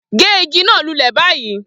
Gé igi náà lulẹ̀ báyìí